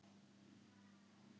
Hann þekkir svo vel til.